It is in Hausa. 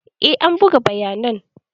Eh an buga bayanan.